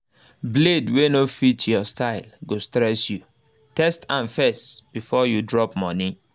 blade wey no fit your style go stress you—test am first before you drop money